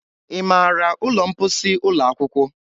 Ị maara ụlọ mposi ụlọ akwụkwọ?